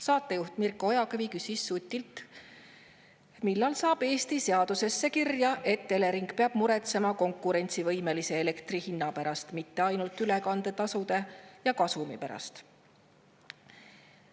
Saatejuht Mirko Ojakivi küsis Sutilt, millal saab Eestis seadusesse kirja, et Elering peab muretsema konkurentsivõimelise elektri hinna pärast, mitte ainult ülekandetasude ja kasumi pärast.